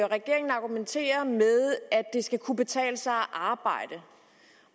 regeringen argumentere med at det skal kunne betale sig at arbejde